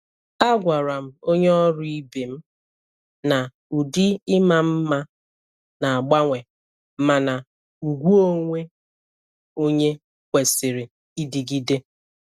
A gwara m onye ọrụ ibe m na ụdị ịma mma na-agbanwe, mana ùgwù onwe onye kwesịrị ịdịgide.